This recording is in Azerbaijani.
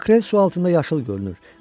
Makrel su altında yaşıl görünür.